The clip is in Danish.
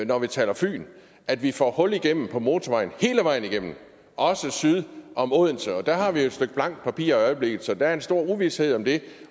når vi taler fyn at vi får hul igennem på motorvejen hele vejen igennem også syd om odense der har vi jo et stykke blankt papir i øjeblikket så der er en stor uvished om det